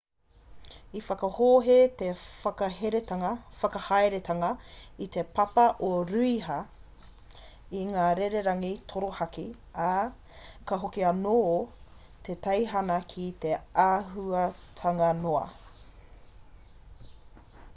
i whakahohe te whakahaeretanga i te papa o rūhia i ngā rererangi torohaki ā ka hoki anō te teihana ki te āhuatanga noa